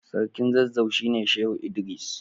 Sarkin zazzau shine Shehu Idris.